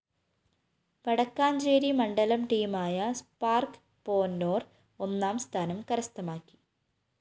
വടക്കാഞ്ചേരി മണ്ഡലം ടീമായ സ്പാര്‍ക്ക് പോന്നോര്‍ ഒന്നാംസ്ഥാനം കരസ്ഥമാക്കി